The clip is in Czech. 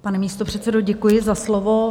Pane místopředsedo, děkuji za slovo.